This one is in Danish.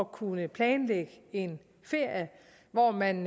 kunne planlægge en ferie hvor man